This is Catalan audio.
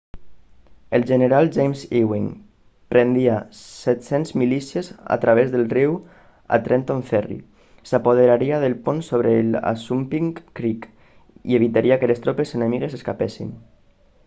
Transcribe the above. el general james ewing prendria 700 milícies a través del riu a trenton ferry s'apoderaria del pont sobre el assunpink creek i evitaria que les tropes enemigues escapessin